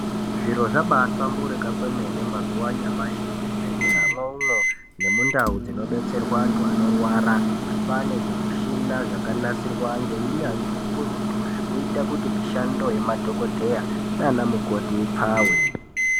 Zviro zvabaahlamburika kwemene anyamashi muzvibhedhleramwo umwo, nemundau dzinobetserwa antu anorwara. Kwaane zvimushina zvakanasirwa ngeunyanzvi ukurutu ,zvekuita kuti mishando yemadhokodheya naanamukoti ipfawe.